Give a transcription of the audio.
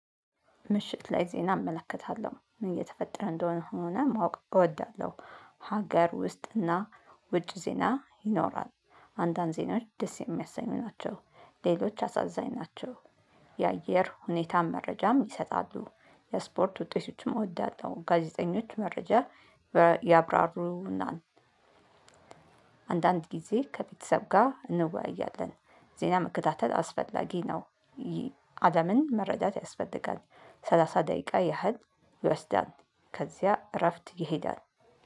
ምሽት ላይ ዜና እመለከታለሁ። ምን እየተፈጠረ እንደሆነ ሆነ ማወቅ እወዳለሁ። ሀገር ውስጥና ውጭ ዜና ይኖራል። አንዳንድ ዜናዎች ደስ የሚያሰኙ ናቸው። ሌሎች አሳዛኝ ናቸው። የአየር ሁኔታም መረጃም ይሰጣሉ። የስፖርት ውጤቶችም እወዳለሁ። ጋዜጠኞች መረጃ ያብራሩና አንዳንድ ጊዜ ከቤተሰብ ጋር እንወያያለን። ዜና መከታተል አስፈላጊ ነው። አለምን መረዳት ያስፈልጋል። ሰላሳ ደቂቃ ያህል ይወስዳል። ከዚያ እረፍት ይሄዳል።